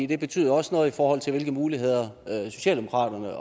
det betyder også noget i forhold til hvilke muligheder socialdemokratiet